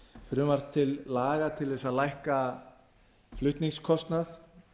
frumvarp til laga til þess að lækka flutningskostnað